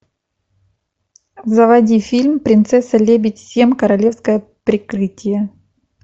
заводи фильм принцесса лебедь семь королевское прикрытие